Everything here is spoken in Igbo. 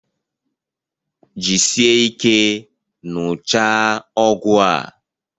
Jisie ike ṅụchaa ọgwụ a!